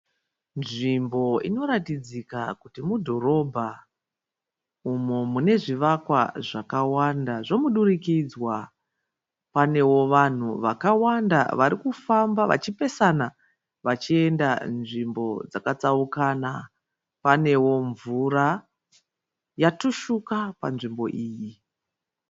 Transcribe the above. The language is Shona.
Nzvimbo inoratidzika kuti mudhorobha umo mune zvivakwa zvakawanda zvomudurikidzwa. Panewo vanhu vakawanda vari kufamba vachipesana vachienda nzvimbo dzakatsaukana. Panewo mvura yatushuka panzvimbo iyi.